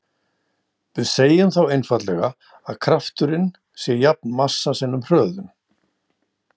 Við segjum þá einfaldlega að krafturinn sé jafn massa sinnum hröðun.